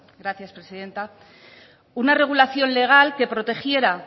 gracias presidenta una regulación legal que protegiera